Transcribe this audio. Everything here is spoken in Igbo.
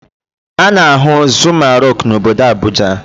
A na-ahụ Zuma rock n'obodo Abuja.